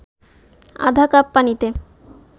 আধা কাপ পানিতে